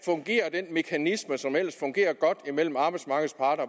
den mekanisme som ellers fungerer godt mellem arbejdsmarkedets parter